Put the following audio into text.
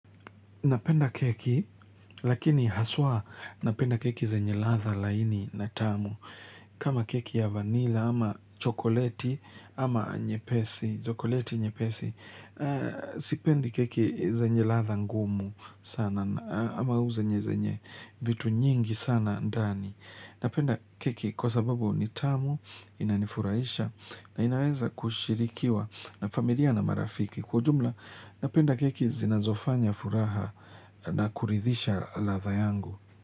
Napenda keki, lakini haswa napenda keki zenye ladhaa laini na tamu. Kama keki ya vanila ama chokoleti ama nyepesi, chokoleti nyepesi, sipendi keki zenye ladhaa ngumu sana, ama huu zenye zenye, vitu nyingi sana ndani. Napenda keki kwa sababu ni tamu, inanifurahisha, na inaweza kushirikiwa na familia na marafiki. Kwa jumla, napenda keki zinazofanya furaha na kuridhisha ladhaa yangu.